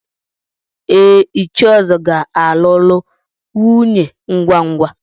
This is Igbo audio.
Ee, Ichie Uzo ga-alụrụ nwunye ngwa ngwa.